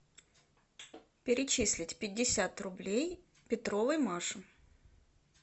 перечислить пятьдесят рублей петровой маше